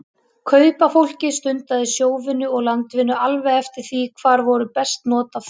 Kaupafólkið stundaði sjóvinnu og landvinnu alveg eftir því hvar voru best not af því.